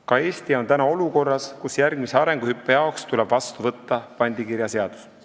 Ka Eesti on olukorras, kus järgmiseks arenguhüppeks tuleb vastu võtta pandikirjaseadus.